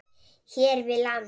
hér við land.